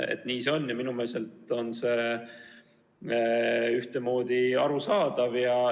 Nii see on ja minu meelest on see ühtemoodi arusaadav.